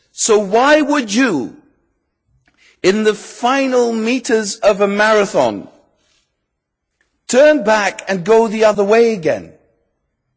So, why would you, in the final metres of a marathon, turn back and go in the other direction?